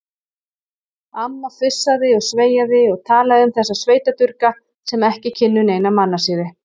Amma fussaði og sveiaði og talaði um þessa sveitadurga sem ekki kynnu neina mannasiði.